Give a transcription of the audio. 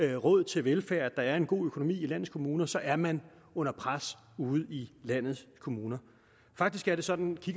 er råd til velfærd og at der er en god økonomi i landets kommuner så er man under pres ude i landets kommuner faktisk er det sådan